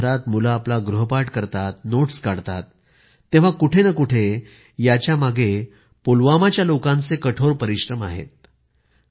आज देशभरात मुले आपला गृहपाठ करतात नोट्स काढतात तेव्हा कुठे न कुठे याच्यामागे पुलवामाच्या लोकांचे कठोर परिश्रम आहेत